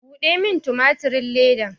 Buɗe min tumatirin ledan!